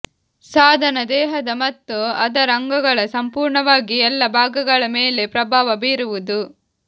ಸಾಧನ ದೇಹದ ಮತ್ತು ಅದರ ಅಂಗಗಳ ಸಂಪೂರ್ಣವಾಗಿ ಎಲ್ಲಾ ಭಾಗಗಳ ಮೇಲೆ ಪ್ರಭಾವ ಬೀರುವುದು